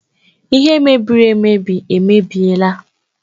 Ihe mebiri emebi emebiela